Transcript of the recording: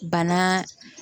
Bana